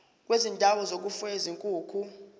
kwezindawo zokufuya izinkukhu